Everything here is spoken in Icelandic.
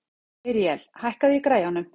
Míríel, hækkaðu í græjunum.